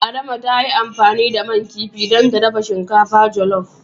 Adama ta yi amfani da man kifin dan ta dafa shinkafar jolof.